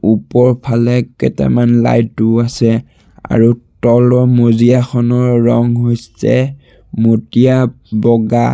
ওপৰৰ ফালে কেইটামান লাইটো আছে আৰু তলৰ মজিয়াখনৰ ৰঙ হৈছে মটীয়া বগা।